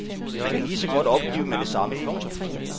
Man kan lige så godt opgive med det samme. punktum